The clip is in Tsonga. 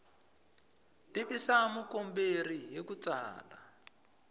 tivisa mukomberi hi ku tsala